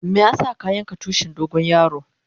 Meya sa ka yanka tushin dogo yaro?